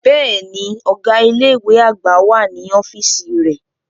Bẹ́ẹ̀ni, ọga ile-iwe agba wa ni ọfiisi rẹ.